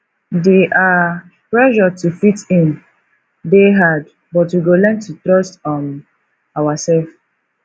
di um pressure to fit in dey hard but we go learn to trust um ourself